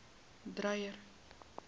dreyer